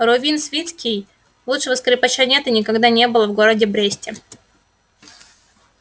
рувим свицкий лучшего скрипача нет и никогда не было в городе бресте